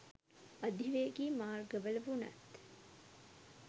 අධිවේගී මාර්ගවල වුණත්